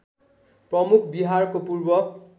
प्रमुख बिहारको पूर्व